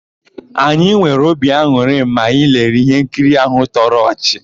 Anyị nwere obi an̄ụrị mgbe anyị lere íhénkiri áhụ̀ tọrọ ọchị.